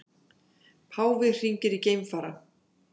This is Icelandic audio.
Páfi hringir í geimfara